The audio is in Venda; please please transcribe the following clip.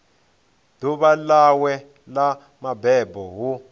ḓuvha ḽawe ḽa mabebo hu